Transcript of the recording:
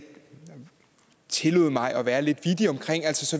tillod mig at være lidt